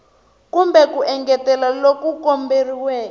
kumbe ku engetela loku komberiweke